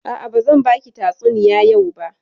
A'a, bazan baki tatsuniya yau ba.